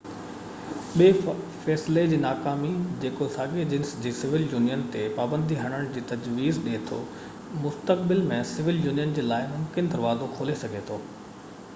ٻي فيصلي جي ناڪامي جيڪو ساڳئي جنس جي سول يونين تي پابندي هڻڻ جي تجويز ڏي ٿو مستقبل ۾ سول يونين جي لاءِ ممڪن دروازو کولي سگهي ٿو